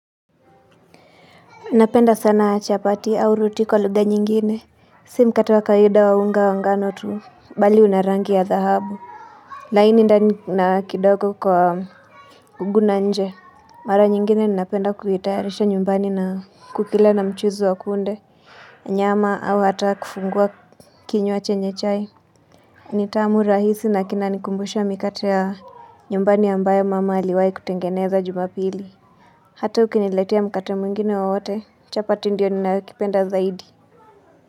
Napenda sana chapati au ruti wao lugha nyingine Si mkate wa kawaida wa unga wa ngano tu Bali una rangi ya dhahabu laini ndani na kidogo kwa ugu na nje Mara nyingine nina penda kuhitayarisha nyumbani na kukila na mchuzu wa kunde Nyama au hata kufungua kinywa chenye chai ni tamu rahisi nakinanikumbusha mikate ya nyumbani ambayo mama aliwahi kutengeneza jumapili Hata ukiniletia mkata mwingine wowote chapati ndio ninakipenda zaidi.